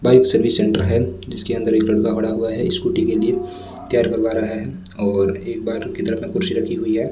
Bike service centre है जिसके अंदर एक लड़का खड़ा हुआ है स्कूटी के लिए तैयार करवा रहा है और एक बाहर की तरफ में कुर्सी रखी हुई है।